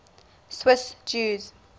swiss jews